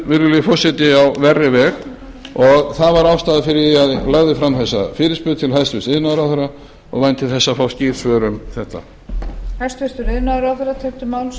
virðulegi forseti á verri veg og það var ástæðan fyrir því að ég lagði fram þessa fyrirspurn til hæstvirts iðnaðarráðherra og vænti þess að fá skýr svör um þetta